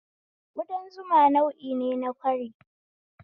udan zuma nau'ine na ƙwari